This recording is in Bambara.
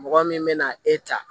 Mɔgɔ min bɛ na e ta